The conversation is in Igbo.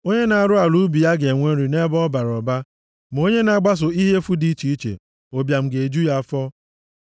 Onye na-arụ ala ubi ya ga-enwe nri nʼebe ọ bara ụba, ma onye na-agbaso ihe efu dị iche iche, ụbịam ga-eju ya afọ.